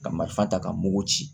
Ka marifa ta ka mugu ci